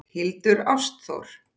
Hildur Ástþór.